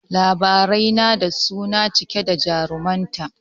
Labarai na da suna cike da jarumta